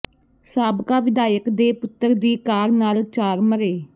ਸਾਬਕਾ ਵਿਧਾਇਕ ਦੇ ਪੁੱਤਰ ਦੀ ਕਾਰ ਨਾਲ ਚਾਰ ਮਰੇੇ